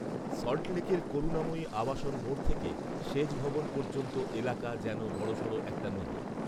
সল্টলেকের করুণাময়ী আবাসন মোড় থেকে সেচভবন পর্যন্ত এলাকা যেন বড়সড় একটা নদী